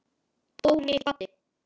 Dóri kvaddi.